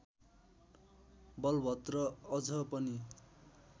बलभद्र अझ पनि